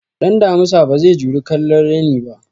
Ɗan damusa bazai juri kallon raini ba